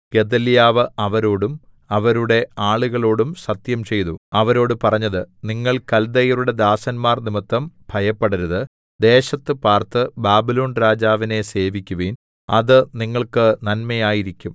ഗെദല്യാവ് അവരോടും അവരുടെ ആളുകളോടും സത്യംചെയ്തു അവരോട് പറഞ്ഞത് നിങ്ങൾ കൽദയരുടെ ദാസന്മാർനിമിത്തം ഭയപ്പെടരുത് ദേശത്ത് പാർത്ത് ബാബിലോൺ രാജാവിനെ സേവിക്കുവിൻ അത് നിങ്ങൾക്ക് നന്മയായിരിക്കും